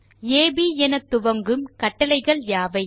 அப் என துவங்கும் கட்டளைகள் யாவை